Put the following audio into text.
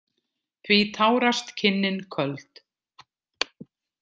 Því tárast kinnin köld.